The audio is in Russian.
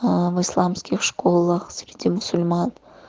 а в исламских школах среди мусульман